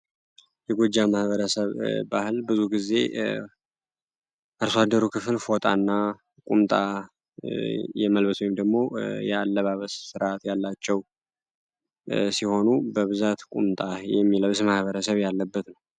የጎጃም ማህበረሰብ ባህል ብዙ ጊዜ አርሶ አደሩ ክፍል ፎጣ እና ቁምጣ የመልስ ወይም አለባበስ ስርአት ያላቸው ሲሆኑ በብዛት ቁምጣ የሚለብስ ማኀበረሰብ ያለበት ነው።